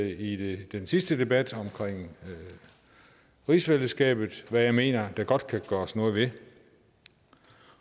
i den sidste debat om rigsfællesskabet som jeg mener der godt kan gøres noget ved